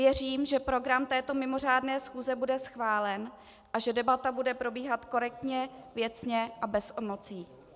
Věřím, že program této mimořádné schůze bude schválen a že debata bude probíhat korektně, věcně a bez emocí.